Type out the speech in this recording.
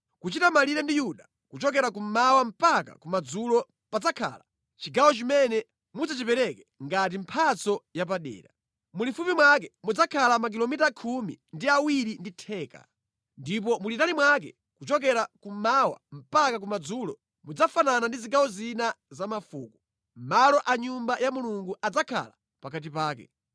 “Kuchita malire ndi Yuda kuchokera kummawa mpaka kumadzulo padzakhala chigawo chimene mudzachipereke ngati mphatso yapadera. Mulifupi mwake mudzakhala makilomita khumi ndi awiri ndi theka, ndipo mulitali mwake, kuchokera kummawa mpaka kumadzulo, mudzafanana ndi zigawo zina za mafuko. Malo a Nyumba ya Mulungu adzakhala pakati pake.